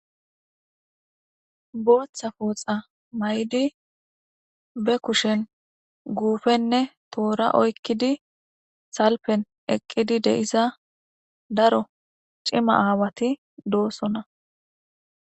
booththa pooxa may7di be kushen guufenne toora oykkidi salpen eqqidi deisa daro cima aawati doossona